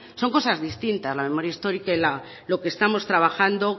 son cosas distintas la memoria histórica y lo que estamos trabajando